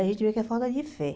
A gente vê que é falta de fé.